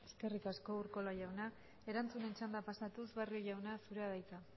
eskerrik asko urkola jauna erantzunen txandara pasatuz barrio jauna zurea da hitza